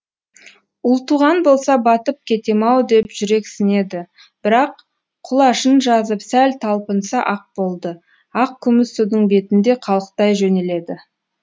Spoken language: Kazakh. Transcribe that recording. ұлтуған болса батып кетем ау деп жүрексінеді бірақ құлашын жазып сәл талпынса ақ болды ақ күміс судың бетінде қалықтай жөнеледі